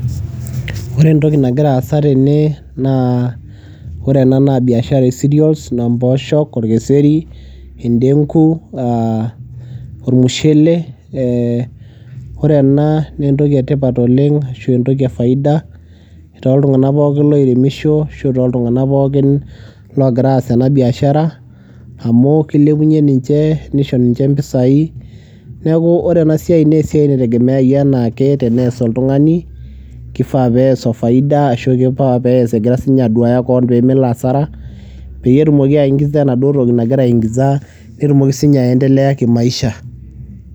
Ore entoki nagira aasa tene naa ore ena naa biashara e cereals naa mpooshok, orkeseri, indeng'u aa ormushele. Ee ore ena nee entoki e tipat oleng' ashu entoki e faida toltung'anaka pookin loiremisho ashu toltung'anak pookin loogira aas ena biashara amu kilepunye ninche, nisho ninche impisai. Neeku ore ena siai nee esiai naitegemeau enaa ake tenees oltung'ani, kifaa pees o faida ashu kempaka pees egira siinye koon pee melo hasara peyie etumoki aing'iza enaduo toki nagira aing'iza netumoki siinye aendelea kimaisha.